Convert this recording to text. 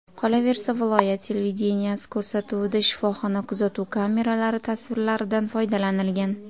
Qolaversa viloyat televideniyesi ko‘rsatuvida shifoxona kuzatuv kameralari tasvirlaridan foydalanilgan.